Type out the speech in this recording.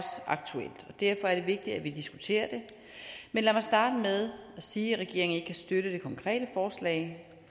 derfor er det vigtigt at vi diskuterer det men lad mig starte med at sige at regeringen ikke kan støtte det konkrete forslag